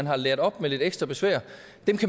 har lært op med lidt ekstra besvær